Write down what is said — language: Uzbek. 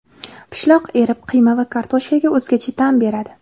Pishloq erib, qiyma va kartoshkaga o‘zgacha ta’m beradi.